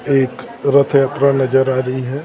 एक रथयात्रा नजर आ रही है--